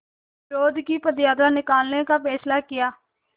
विरोध की पदयात्रा निकालने का फ़ैसला किया